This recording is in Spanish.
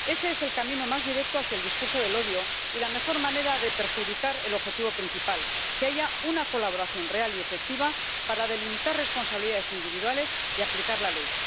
Ese es el camino más directo hacia el discurso del odio y la mejor manera de perjudicar el objetivo principal que haya una colaboración real y efectiva para delimitar responsabilidades individuales y aplicar la ley.